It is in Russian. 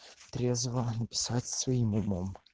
трезво написать своим умом